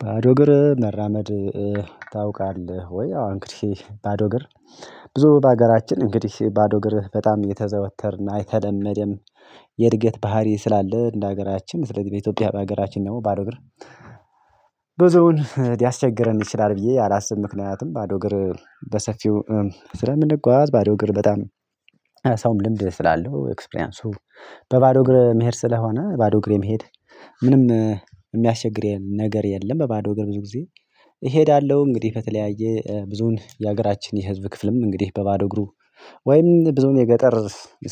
ባዶ እግር መራመድ ታውቃለህ ወይ? አዎ እንግዲህ ባዶ እግር ብዙ በሀገራችን እንግዲህ ባዶ እግርህ በጣም እየተዘወተርን የተለመድም የእድገት ባህሪ ስላለ እንደ ሀገራችን ስለዚ በኢትዮጵያ በሀገራችን ደግሞ ባዶ እግር ብዙውን ሊያስቸግረን ይችላል ብዬ አላስብም። ምክንያትም ባዶ እግር በሰፊው ስለምንጓዝ ባዶ እግር በጣም ሰውም ልምድ ስላለው ኤክስፕሪያንሱ በባዶ እግር መሄድ ስለሆነ ባዶ እግሬ መሄድ ምንም ሚያስቸግሬን ነገር የለም በባዶ ብዙ ጊዜ እሄዳለሁ። እንግዲህ ከተለያየ ብዙን የሀገራችን የህዝብ ክፍልም እንግዲህ በባዶ እግሩ ወይም ብዙ የገጠር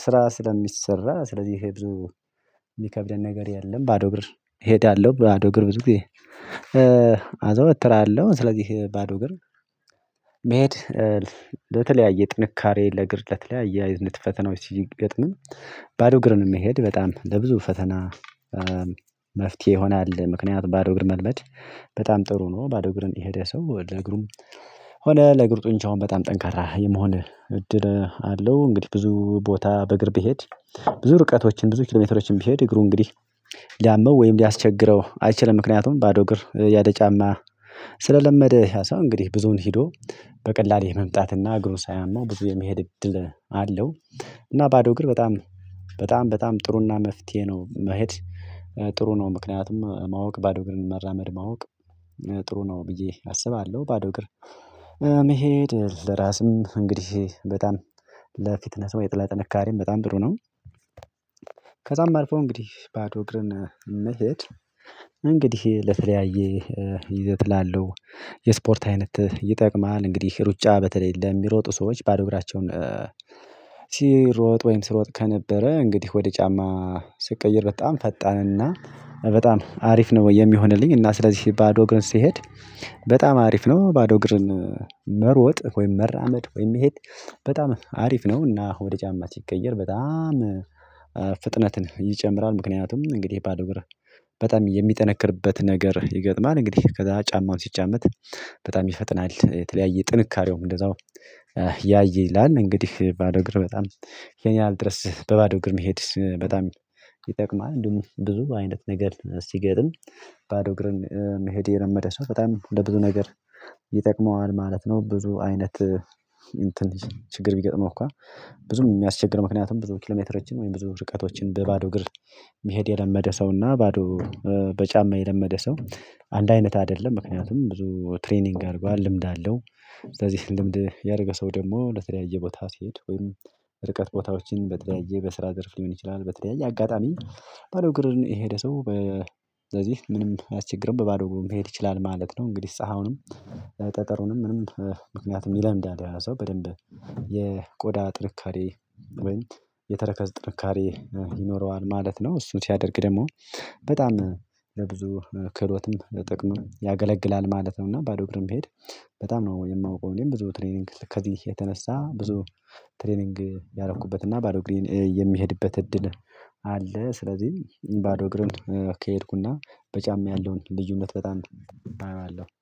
ስራ ስለሚሰራ ስለዚህ ይሄ ብዙ ሚከብደን ነገር የለም። ባዶ እግር እሄዳለሁ ባዶ እግር ብዙ ጊዜ አዘውትራለሁ። ስለዚህ ባዶ እግር መሄድ ለተለያየ ጥንካሬ ለእግር ለተለያየ የዝንት ፈተናዎች ሲገጥምም ባዶ እግርን የሚሄድ በጣም ለብዙ ፈተና መፍትሄ ይሆናል። ምክንያቱም ባዶ እግር መልበድ በጣም ጥሩ ነው። ባዶ እግርን የሄደ ሰው ለእግሩም ሆነ ለእግር ጡንቻውን በጣም ጠንካራ የመሆን እድል አለው። እንግዲህ ብዙ ቦታ በእግር ብሄድ ብዙ ርቀቶችን ብዙ ኪሎሜትሮችን ብሄድ እግሩ እንግዲህ ሊያመው ወይም ሊያስቸግረው አይችልም። ምክንያቱም ባዶ እግር ያለ ጫማ ስለለመደ ያ ሰው እንግዲህ ብዙውን ሂዶ በቀላል የመምጣትና እግሩ ሳያመው ብዙ የመሄድ እድል አለው። እና ባዶ እግር በጣም በጣም በጣም ጥሩና መፍትሄ ነው። መሄድ ጥሩ ነው። ምክንያቱም ማወቅ ባዶ ግን መራመድ ማወቅ ጥሩ ነው ብዬ አስባለሁ። ባዶ እግር መሄድ ለራስም እንግዲህ በጣም ለፊትነስ ወይ ለጥንካሬም በጣም ጥሩ ነው። ከዛም አልፎ እንግዲህ ባዶ እግርን መሄድ እንግዲህ ለተለያየ ይዘት ላለው የስፖርት አይነት ይጠቅማል። እንግዲህ ሩጫ በተለይ ለሚሮጡ ሰዎች ባዶ እግራቸውን ሲሮጥ ወይም ሲሮጥ ከነበረ እንግዲህ ወደ ጫማ ስቀይር በጣም ፈጣንና በጣም አሪፍ ነው የሚሆንልኝ። እና ስለዚህ ባዶ እግርን ስሄድ በጣም አሪፍ ነው። ባዶ እግርን መሮጥ ወይም መራመድ ወይም መሄድ በጣም አሪፍ ነው። እና ወደ ጫማ ሲቀየር በጣም ፍጥነትን ይጨምራል። ምክንያቱም እንግዲህ ባዶ እግር በጣም የሚጠነክርበት ነገር ይገጥማል። እንግዲህ ከዛ ጫማውን ሲጫመት በጣም ይፈጥናል የተለያየ ጥንካሬውም እንደዛው ያይላል። እንግዲህ ባዶ እግር በጣም ይን ያህል ድረስ በባዶ ግርም መሄድ በጣም ይጠቅማል። እንደውም ብዙ አይነት ነገር ሲገጥም ባዶ እግርን መሄድ የለመደ ሰው በጣም ለብዙ ነገር ይጠቅመዋል ማለት ነው። ብዙ አይነት እንትን ችግር ቢገጥመው እኮ ብዙም የሚያስቸግር ምክንያቱም ብዙ ኪሎሜትር እጅን ወይም ብዙ ርቀቶችን በባዶ እግር መሄድ የለመደ ሰውና ባዶ በጫማ የለመደ ሰው አንድ አይነት አደለም። ምክንያቱም ብዙ ትሬኒንግ አድርጓል ልምድ አለው። ስለዚህ ልምድ ያደረገ ሰው ደግሞ ለተለያየ ቦታ ሲሄድ ወይም ርቀት ቦታዎችን በተለያየ በስራ ዘርፍ ሊሆን ይችላል። በተለያየ አጋጣሚ ባዶ እግርን የሄደ ሰው በ ስለዚህ ምንም አያስቸግርም በባዶ እግሩ መሄድ ይችላል ማለት ነው። እንግዲህ ፀሀውንም ጠጠሩንም ምንም ምክንያቱም ይለምዳል ያ ሰው በደንብ የቆዳ ጥንካሬ ወይም የተረከዝ ጥንካሬ ይኖረዋል ማለት ነው። እሱን ሲያደርግ ደግሞ በጣም ለብዙ ክህሎትም ለጥቅምም ያገለግላል ማለት ነው። እና ባዶ እግርም ቢሄድ በጣም ነው የማውቀው እኔም ብዙ ትሬኒንግ ከዚህ የተነሳ ብዙ ትሬኒንግ ያደረኩበት እና ባዶ እግሬን የሚሄድበት እድል አለ። ስለዚህ ባዶ እግርህን ከሄድኩና በጫማ ያለውን ልዩነት በጣም አየዋለሁ